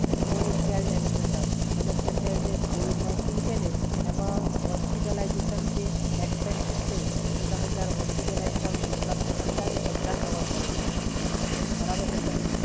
આવશે મતલબ જે કોવિડ નાઇન્ટીન જે છે ને એમાં હોસ્પિટલાઈઝેશન છે, એક્સપેન્સિસ છે જો તમે અત્યારે હોસ્પિટલાઇઝ થાઓ અને જેટલાબી ખર્ચા છે ને એ બધા કવર કરે છે, સર. બરાબર છે, સર?